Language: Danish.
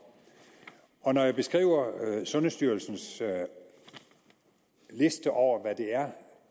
når jeg beskriver sundhedsstyrelsens liste over hvad det er